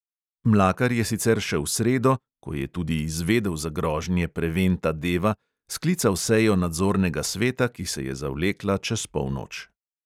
Mlakar je sicer še v sredo, ko je tudi izvedel za grožnje preventa deva, sklical sejo nadzornega sveta, ki se je zavlekla čez polnoč.